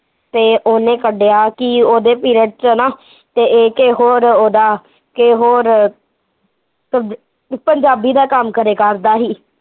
ਤੇ ਓਹਨੇ ਕੱਢਿਆ ਕੀ ਉਹਦੇ ਪਿਰਡ ਚ ਨਾ ਤੇ ਏਹ ਕਿਸੇ ਹੋਰ ਓਹਦਾ, ਕਿਸੇ ਹੋਰ ਸਬ, ਪੰਜਾਬੀ ਦਾ ਕੰਮ ਕਰਿਆ ਕਰਦਾ ਸੀ